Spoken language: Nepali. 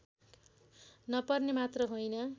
नपर्ने मात्र होइन